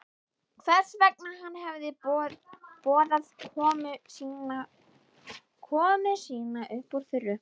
Hvers vegna hann hefði boðað komu sína upp úr þurru.